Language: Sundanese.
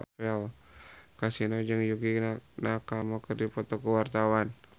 Kasino jeung Yukie Nakama keur dipoto ku wartawan